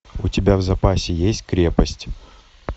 у тебя в запасе есть крепость